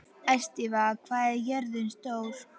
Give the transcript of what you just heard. Estiva, hvað er jörðin stór?